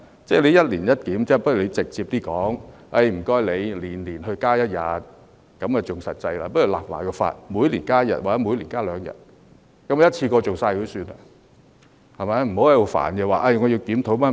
要一年一檢，倒不如他直接提出，要求每年增加一天，這樣更實際，或是每年立法增加一天或每年增加兩天，一次過完成作罷，不要在這裏煩，說要檢討各樣。